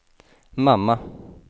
mamma